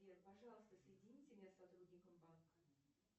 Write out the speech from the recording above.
сбер пожалуйста соедините меня с сотрудником банка